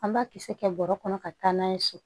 An b'a kisɛ kɛ bɔrɔ kɔnɔ ka taa n'a ye so